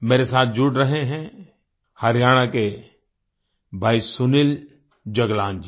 मेरे साथ जुड़ रहे हैं हरियाणा के भाई सुनील जगलान जी